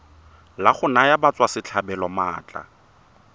la go naya batswasetlhabelo maatla